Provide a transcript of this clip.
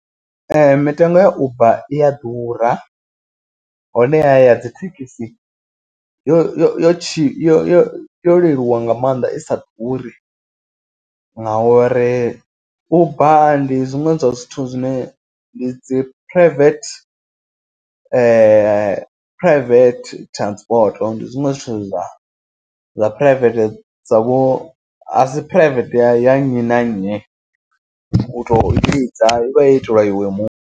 Ee mitengo ya uber i a ḓura honeha ya dzi thekhisi yo yo yo tshi yo yo yo leluwa nga maanḓa i sa ḓuri. Ngauri uber ndi zwiṅwe zwa zwithu zwine ndi dzi private private transport. Ndi zwiṅwe zwithu zwa zwa private dzavho asi private ya nnyi na nnyi u to i vhidza ivha yo itelwa iwe muṋe.